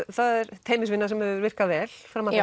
það er teymisvinna sem hefur virkað vel fram að